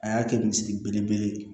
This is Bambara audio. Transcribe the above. A y'a kɛ misiri belebele ye